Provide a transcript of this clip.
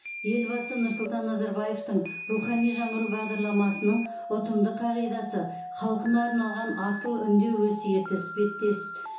елбасы нұрсұлтан назарбаевтың рухани жаңғыру бағдарламасының ұтымды қағидасы халқына арналған асыл үндеу өсиеті іспеттес